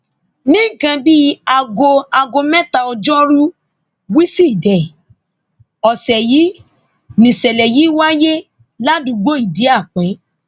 ní nǹkan bíi aago aago mẹta ọjọrùú wíṣídẹẹ ọsẹ yìí nìṣẹlẹ yìí wáyé ládùúgbò idiape